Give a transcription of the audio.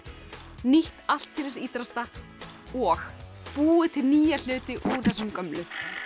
nýtt allt til ítrasta og búið til nýja hluti úr þessum gömlu